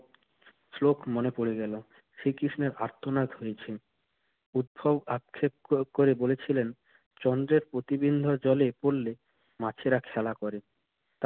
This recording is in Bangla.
শ্লোক মনে পড়ে গেল। শ্রীকৃষ্ণের আর্তনাদ হয়েছে। উদ্ভব আক্ষেপ করে বলেছিলেন চন্দ্রের প্রতিবিম্ব জলে পড়লে মাছেরা খেলা করে।